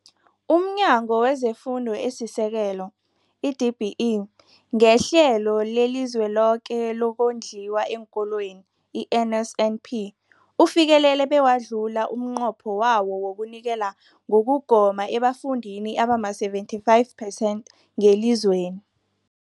UmNyango wezeFundo esiSekelo, i-DBE, ngeHlelo leliZweloke lokoNdliwa eenKolweni, i-NSNP, ufikelele bewadlula umnqopho wawo wokunikela ngokugoma ebafundini abama-75 percent ngelizweni.